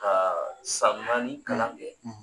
Ka san naani kalan kɛ.